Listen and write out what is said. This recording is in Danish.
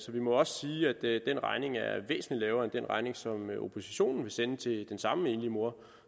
vi må også sige at den regning er væsentlig lavere end den regning som oppositionen vil sende til den samme enlige mor